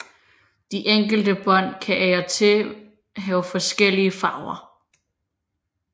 De enkelte bånd kan af og til have forskellige farver